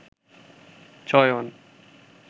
চয়ন